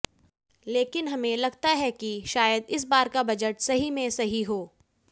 लेकिन हमें लगता है कि शायद इस बार का बजट सही में सही हो